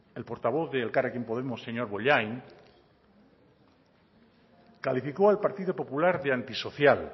el portavoz de elkarrekin podemos señor bollain calificó al partido popular de antisocial